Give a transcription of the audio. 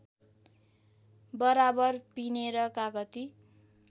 बराबर पिनेर कागती